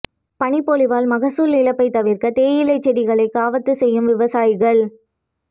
பனிப்பொழிவால் மகசூல் இழப்பை தவிர்க்க தேயிலை செடிகளை கவாத்து செய்யும் விவசாயிகள்